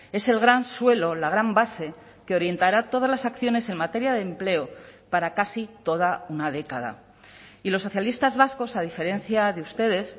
es el gran suelo la gran base que orientará todas las acciones en materia de empleo para casi toda una década y los socialistas vascos a diferencia de ustedes